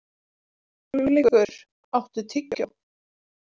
Hugleikur, áttu tyggjó?